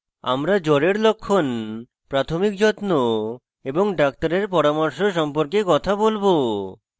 আমরা জ্বরের লক্ষণ প্রাথমিক যত্ন এবং doctor পরামর্শ সম্পর্কে কথা বলবো